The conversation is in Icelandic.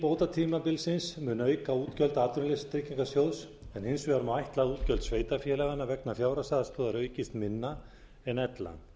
bótatímabilsins mun auka útgjöld atvinnuleysistryggingasjóðs en hins vegar má ætla að útgjöld sveitarfélaganna vegna fjárhagsaðstoðar aukist minna en ella